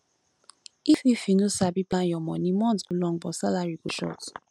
if if you no sabi plan your money month go long but salary go short